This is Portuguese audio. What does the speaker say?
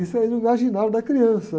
Isso aí no imaginário da criança.